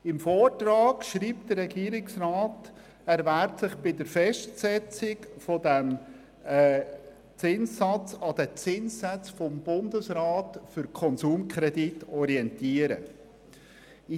Im Vortrag schreibt der Regierungsrat, dass er sich bei der Festsetzung des Zinssatzes an den Zinssätzen des Bundesrats für Konsumkredite orientieren werde.